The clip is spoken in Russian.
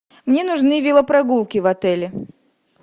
мне нужны велопрогулки в отеле